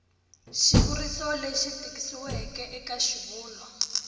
xivuriso lexi tikisiweke eka xivulwa